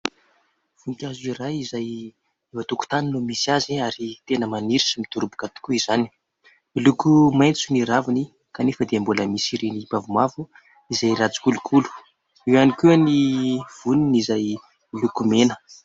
Voninkazo iray izay eo antokotany no misy azy ary tena maniry sy midoroboka tokoa izany. Miloko maintso ny raviny kanefa dia mbola misy ireny mavomavo izay ratsy kolokolo, eo ihany koa ny voniny izay milokovmena.